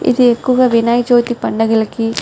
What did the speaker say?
ఇది ఎక్కువగా వినాయక చవితి పండుగలకి --